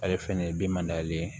Ale fɛnɛ ye bimandan ye